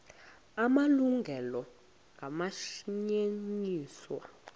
la malungelo anganyenyiswa